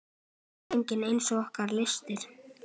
Mengið eins og ykkur lystir.